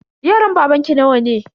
Yaran babanki nawa ne?